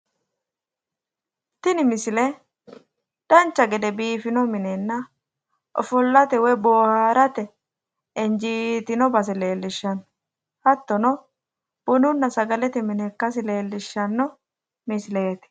Tiin misile dancha gede biifino minenna ofollate woyi boohaarate injiitino base leellishshanno hattono bununna sagalete mine ikkasi leellishshanno misileeti